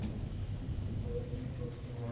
ਬਹੁਤ interesting ਹੈ.